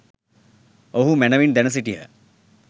ඔවුහූ මැනවින් දැන සිටියහ.